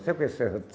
Sabe o que é serra?